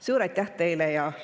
Suur aitäh teile!